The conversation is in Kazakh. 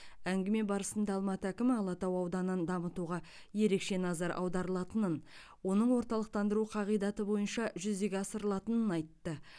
әңгіме барысында алматы әкімі алатау ауданын дамытуға ерекше назар аударылатынын оның орталықтандыру қағидаты бойынша жүзеге асырылатынын айтты